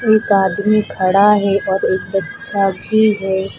एक आदमी खड़ा है और एक बच्चा भी है।